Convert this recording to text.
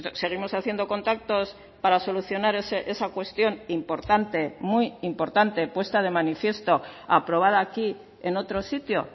seguimos haciendo contactos para solucionar esa cuestión importante muy importante puesta de manifiesto aprobada aquí en otro sitio